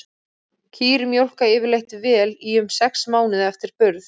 Kýr mjólka yfirleitt vel í um sex mánuði eftir burð.